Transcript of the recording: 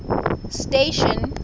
station